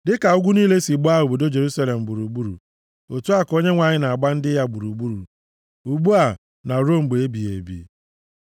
Dịka ugwu niile si gbaa obodo Jerusalem gburugburu, otu a ka Onyenwe anyị na-agba ndị ya gburugburu ugbu a na ruo mgbe ebighị ebi.